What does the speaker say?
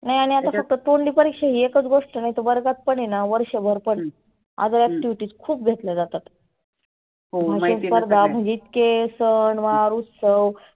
नाही आणि हे आता फक्त तोंडी परिक्षा ही एकच गोष्ट नाही तर वर्गात पण आहेना वर्षभर पण other activities खुप घेतल्या जातात. भाषन स्पर्धा जीतके सन वार उत्सव